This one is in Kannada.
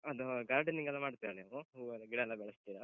ಅದು gardening ಎಲ್ಲ ಮಾಡ್ತೀರ ನೀವು? ಹೂವೆಲ್ಲ, ಗಿಡಯೆಲ್ಲ ಬೆಳೆಸ್ತೀರ?